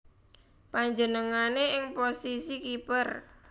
Panjenengané ing posisi kiper